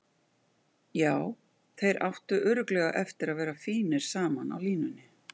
Já, þeir áttu örugglega eftir að vera fínir saman á línunni.